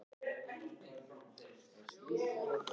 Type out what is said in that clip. Félagið hefur því verið í í leit að nýjum miðverði.